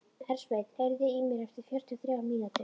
Hersveinn, heyrðu í mér eftir fjörutíu og þrjár mínútur.